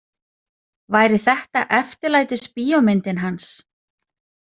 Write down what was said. Væri þetta eftirlætisbíómyndin hans?